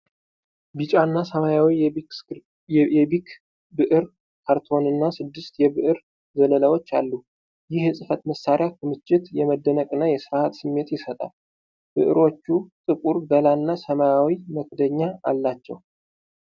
ቢጫና ሰማያዊው የቢክ ብዕር ካርቶንና ስድስት የብዕር ዘለላዎች አሉ። ይህ የፅህፈት መሳሪያ ክምችት፣ የመደነቅና የሥርዓት ስሜት ይሰጣል። ብዕሮቹ ጥቁር ገላና ሰማያዊ መክደኛ አላቸው።